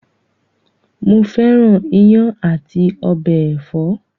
Mo fẹ́ràn iyán àti ọbẹ ẹ̀fọ́.